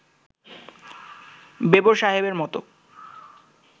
বেবর সাহেবের মত